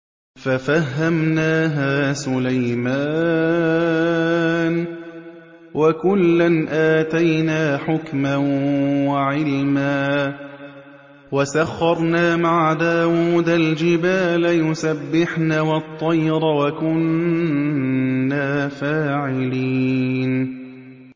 فَفَهَّمْنَاهَا سُلَيْمَانَ ۚ وَكُلًّا آتَيْنَا حُكْمًا وَعِلْمًا ۚ وَسَخَّرْنَا مَعَ دَاوُودَ الْجِبَالَ يُسَبِّحْنَ وَالطَّيْرَ ۚ وَكُنَّا فَاعِلِينَ